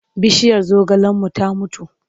Bishiyar zogalenmu ta mutu.